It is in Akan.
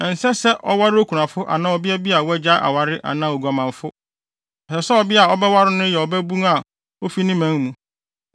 Ɛnsɛ se ɔware okunafo anaa ɔbea bi a wagyae aware anaa oguamanfo. Ɛsɛ sɛ ɔbea a ɔbɛware no no yɛ ɔbabun a ofi ne man mu,